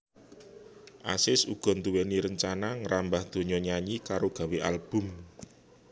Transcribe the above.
Azis uga nduwéni rencana ngrambah donya nyanyi karo gawé album